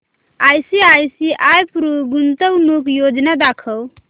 ICICI Pru गुंतवणूक योजना दाखव